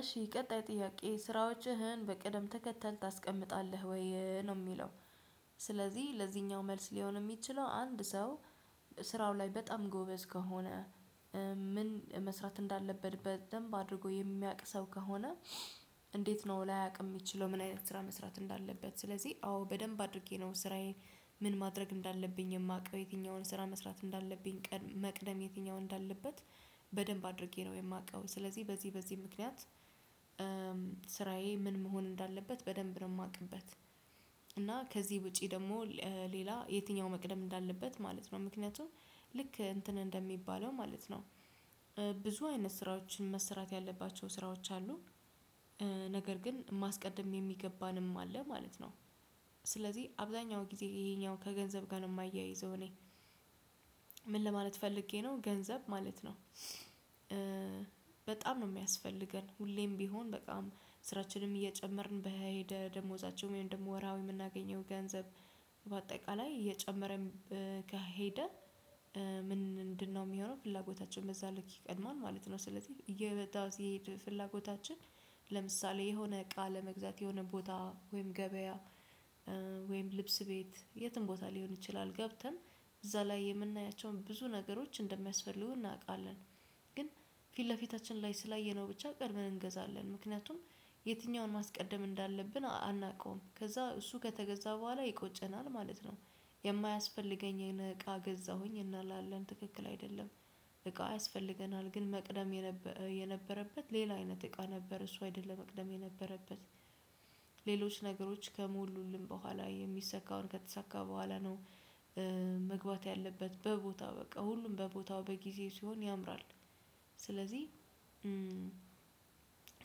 እሺ ቀጣይ ጥያቄ ስራዎችህን በቀደም ተከተል ታስቀምጣለህ ወይ ነው የሚለው? ስለዚህ ለዚህኛው መልስ ሊሆን የሚችለው አንድ ሰው ስራው ላይ በጣም ጎበዝ ከሆነ። ምን መስራት እንዳለበት በደንብ አድርጎ የሚያውቅ ሰው ከሆነ። እንዴት ነው ላያቅ የምችለው ምን አይነት ስራ መስራት እንዳለበት ስለዚህ አዎ በደንብ አድርጌ ነው ስራዬን። ምን ማድረግ እንዳለብኝ የማውቀው የትኛውን ስራ መስራት እንዳለብኝ ቀን መቅደም የትኛው እንዳለበት በደንብ አድርጌ ነው የማቀው። ስለዚህ በዚህ በዚህ ምክንያት ስራዬ ምን መሆን እንዳለበት በደንብ ነው የማቅበት። እና ከዚህ ውጪ ደግሞ ሌላ የትኛው መቅደም እንዳለበት ማለት ነው ምክንያቱም ልክ እንትን እንደሚባለው ማለት ነው። ብዙ አይነት ስራዎችን መሰራት ያለባቸው ስራዎች አሉ። ነገር ግን ማስቀደም የሚገባንም አለ ማለት ነው። ስለዚህ አብዛኛው ጊዜ ይሄኛው ከገንዘብ ጋር ነው የማያይዘው እኔ ምን ለማለት ፈልጌ ነው ገንዘብ ማለት ነው። በጣም ነው የሚያስፈልገን ሁሌም ቢሆን በጣም ስራችንም እየጨመርን በሄደ ደሞዛቸው ወይም ደግሞ ወራሀዊ የምናገኘው ገንዘብ በአጠቃላይ እየጨመረም ከሄደ። ምንድነው እሚሆነው ፍላጎታችን በዛ ልክ ቀድማል ማለት ነው። ስለዚህ እየበዛ ሲሄድ ፍላጎታችን ለምሳሌ የሆነ እቃ ለመግዛት የሆነ ቦታ ወይም ገበያ ወይም ልብስ ቤት የትም ቦታ ሊሆን ይችላል ገብተን እዛ ላይ የምናያቸውን ብዙ ነገሮች እንደሚያስፈልጉ እናውቃለን። ግን ፊት ለፊታችን ላይ ስላየነው ብቻ ቀደመን እንገዛለን ምክንያቱም የትኛውን ማስቀደም እንዳለብን አናውቀውም ከዛ እሱ ከተገዛ በኋላ ይቆጨናል ማለት ነው። የማያስፈልገኝን እቃ ገዛሁኝ እና ላለን ትክክል አይደለም። እቃ ያስፈልገናል ግን መቅደም የነበረበት ሌላ አይነት እቃ ነበር እሱ አይደለም መቅደም የነበረበት። ሌሎች ነገሮች ከሞሉልን በኋላ የሚሰካው ከተሳካ በኋላ ነው። መግባት ያለበት በቦታው በቃ ሁሉም በቦታው በጊዜ ሲሆን ያምራል። ስለዚህ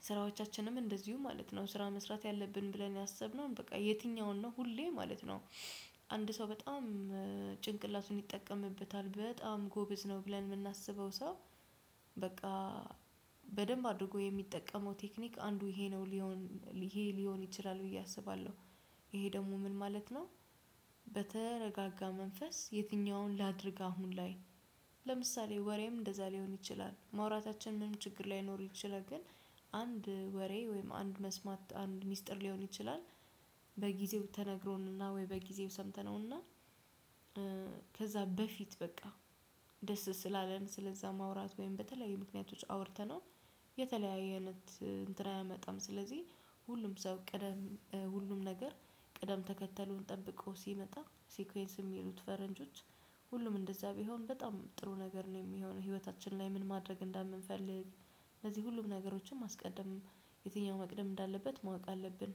ስራዎቻችንም እንደዚሁ ማለት ነው ስራ መስራት ያለብን ብለን ያሰብነው በቃ የትኛውን ነው ሁሌ ማለት ነው። አንድ ሰው በጣም ጭንቅላቱን ይጠቀምበታል በጣም ጎበዝ ነው ብለን የምናስበው ሰው በቃ በደንብ አድርጎ የሚጠቀመው ቴክኒክ አንዱ ይሄ ነው ሊሆን ይሄ ሊሆን ይችላል ብዬ አስባለሁ። ይሄ ደግሞ ምን ማለት ነው? በተረጋጋ መንፈስ የትኛውን ላድርግ አሁን ላይ ለምሳሌ ወሬም እንደዛ ሊሆን ይችላል ማውራታችን ምንም ችግር ላይኖር ይችላል ግን አንድ ወሬ ወይም አንድ መስማት አንድ ሚስጥር ሊሆን ይችላል። በጊዜው ተነግሮንና ወይ በጊዜው ሰምተነውና ከዛ በፊት በቃ ደስ ስላለን ስለዛ ማውራት ወይም በተለያዩ ምክንያቶች አውርተነው። የተለያዩ አይነት እንትን አያመጣም ስለዚህ ሁሉም ሰው ቅደም ሁሉም ነገር ቅደም ተከተሉን ጠብቆ ሲመጣ ሲኩዌንስ የሚሉት ፈረንጆች ሁሉም እንደዛ ቢሆን በጣም ጥሩ ነገር ነው የሚሆነው ህይወታችን ላይ ምን ማድረግ እንደምንፈልግ። ለዚህ ሁሉም ነገሮችን ማስቀደም የትኛው መቅደም እንዳለበት ማወቅ አለብን